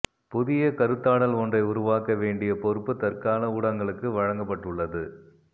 புதிய கருத்தாடல் ஒன்றை உருவாக்க வேண்டிய பொறுப்பு தற்கால ஊடகங்களுக்கு வழங்கப்பட்டுள்ளது